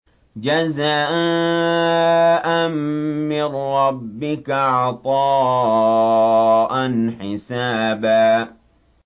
جَزَاءً مِّن رَّبِّكَ عَطَاءً حِسَابًا